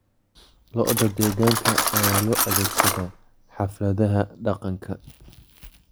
Lo'da deegaanka ayaa loo adeegsadaa xafladaha dhaqanka.